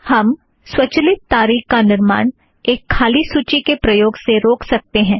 हम स्वचालित तारीख का निर्माण एक खाली सूची के प्रयोग से रोक सकते हैं